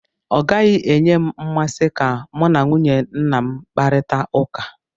Ọ gaghị enye m mmasị ka mụ na nwunye nna m kparita ụka.